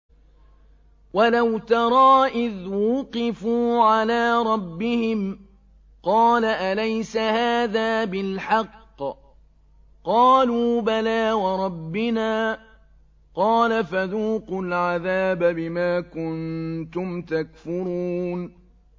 وَلَوْ تَرَىٰ إِذْ وُقِفُوا عَلَىٰ رَبِّهِمْ ۚ قَالَ أَلَيْسَ هَٰذَا بِالْحَقِّ ۚ قَالُوا بَلَىٰ وَرَبِّنَا ۚ قَالَ فَذُوقُوا الْعَذَابَ بِمَا كُنتُمْ تَكْفُرُونَ